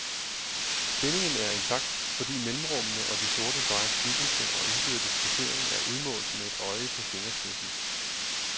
Spændingen er intakt, fordi mellemrummene og de sorte stregers tykkelse og indbyrdes placering er udmålt med et øje på fingerspidsen.